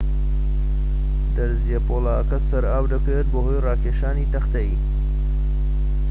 دەرزیە پۆڵاکە سەر ئاو دەکەوێت بەهۆی ڕاکێشانی تەختەیی